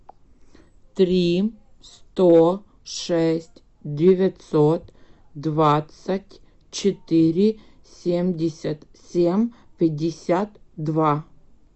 три сто шесть девятьсот двадцать четыре семьдесят семь пятьдесят два